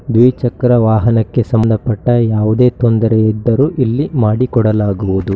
ದ್ವಿಚಕ್ರ ವಾಹನಕ್ಕೆ ಸಂಬಂಧಪಟ್ಟ ಯಾವುದೇ ತೊಂದರೆ ಇದ್ದರು ಇಲ್ಲಿ ಮಾಡಿಕೊಡಲಾಗುವುದು.